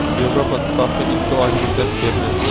Yevropa Ittifoqi ikki oy muddat berdi.